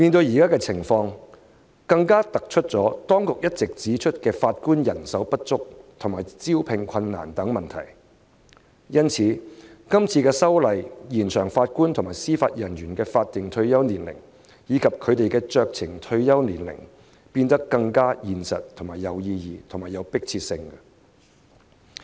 現時情況更凸顯當局一直指出的法官人手不足及招聘困難等問題，因此，政府提出《條例草案》，延展法官及司法人員的法定退休年齡及酌情退休年齡，有其意義及迫切性。